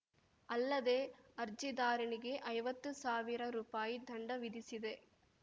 ಅಲ್ಲದೆ ಅರ್ಜಿದಾರನಿಗೆ ಐವತ್ತು ಸಾವಿರ ರೂಪಾಯಿ ದಂಡ ವಿಧಿಸಿದೆ